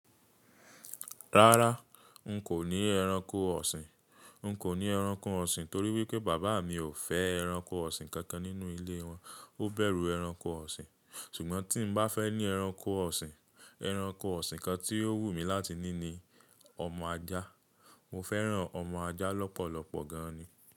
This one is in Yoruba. Rárá, n kò ní ẹranko ọ̀sìn. N kò ní ẹranko ọ̀sìn torí wípé bàbá mi ò fẹ́ ẹranko ọ̀sìn kankan nínú ilé wọn, ó bẹ̀rù ẹranko ọ̀sìn. Ṣùgbọ́n tí mo bá fẹ́ ní ẹranko ọ̀sìn, ẹranko ọ̀sìn kan tí yóò wù mí láti ní ni ọmọ ajá. Mo fẹ́ràn ọmọ ajá lọ́pọ̀lọpọ̀ gan ni.